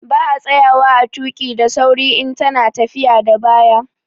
Ba a tsayawa a tuƙi daa sauri in ta na tafiya da baya